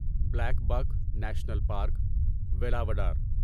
black buck national park, Velavadar